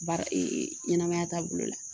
Baara ɲɛnɛmaya taabolo la